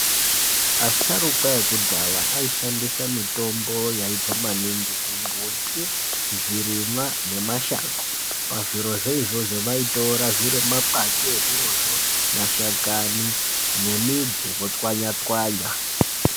Asharukwa ekudhaya aishandisa mitombo yaibva maningi kumbuti, zvirimwa nemashango pazvirozvo izvozvo vaitora zviro makwati ezvirozvo , mashakani nemidzi votswanya-tswanya.